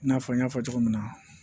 I n'a fɔ n y'a fɔ cogo min na